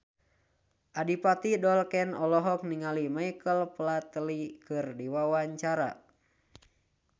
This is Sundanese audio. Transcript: Adipati Dolken olohok ningali Michael Flatley keur diwawancara